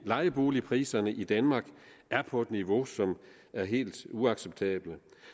lejeboligpriserne i danmark er på et niveau som er helt uacceptabelt